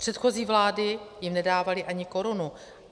Předchozí vlády jim nedávaly ani korunu.